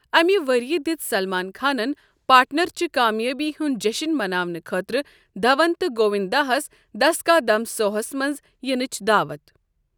امہ ؤریہ دژ سلمان خانن 'پارٹنر' چہ کامیٲبی ہنٛد جیٚشنہٕ مناونہٕ خٲطرٕ دھون تہٕ گوونٛداہس، دس کا دم سوہس منٛز ینٕچ دعوت ۔